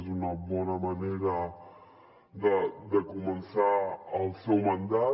és una bona manera de començar el seu mandat